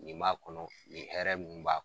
Nin b'a kɔnɔ nin hɛrɛ mun b'a